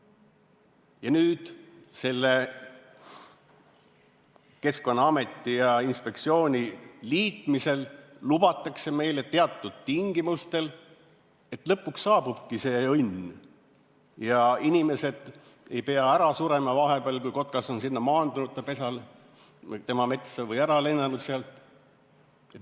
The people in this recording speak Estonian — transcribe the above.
Ja nüüd selle Keskkonnaameti ja -inspektsiooni liitmisel lubatakse meile teatud tingimustel, et lõpuks saabubki see õnn ja inimesed ei pea ära surema vahepeal, kui kotkas on maandunud oma pesale tema metsas või ära lennanud sealt.